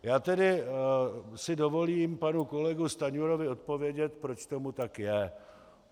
Já tedy si dovolím panu kolegu Stanjurovi odpovědět, proč tomu tak je.